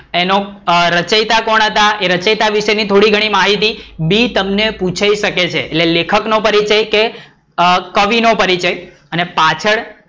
એનો રચિયતા કોણ હતા? એ રચિયતા વિષે ની થોડી ઘણી માહિતી બી તમને પુછાય સકે છે લેખક નો પરિચય કે કવિ નો પરિચય? અને પાછળ,